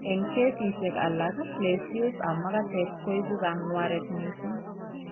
Eng' kesisiek alak lesios ab makatet koibu kang'wareet mising'